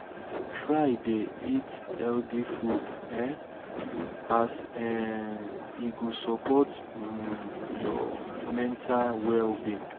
try dey eat healthy food um as um e go sopport um yur mental well-being